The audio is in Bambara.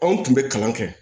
Anw tun bɛ kalan kɛ